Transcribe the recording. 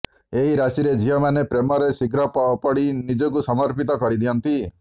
ଏହି ରାଶିରେ ଝିଅମାନେ ପ୍ରେମରେ ଶୀଘ୍ର ପଡ଼ି ନିଜକୁ ସମର୍ପିତ କରି ଦିଅନ୍ତି